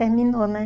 Terminou, né?